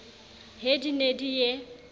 he di ne di ye